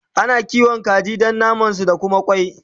Ana kiwata kaji Dan naman su da Kuma kwai